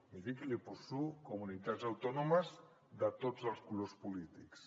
miri que li poso comunitats autònomes de tots els colors polítics